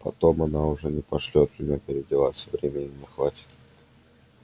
потом она уже не пошлёт меня переодеваться времени не хватит